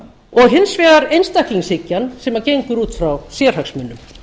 og hins vegar einstaklingshyggjan sem gengur út frá sérhagsmunum